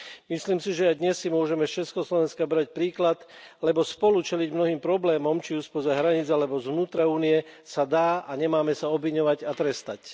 Myslím si, že aj dnes si môžeme z Československa brať príklad, lebo spolu čeliť mnohým problémom, či už spoza hraníc alebo z vnútra Únie sa dá a nemáme sa obviňovať a trestať.